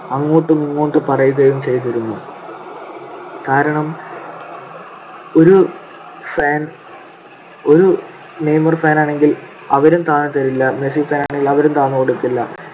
അങ്ങോട്ടുമിങ്ങോട്ടും പറയുകയും ചെയ്‌തിരുന്നു. കാരണം ഒരു fan ഒരു നെയ്‌മർ fan ആണെങ്കിൽ അവരും താഴ്ന്നുതരില്ല. മെസ്സി fan ആണെങ്കിൽ അവരും താഴ്ന്നു കൊടുക്കില്ല.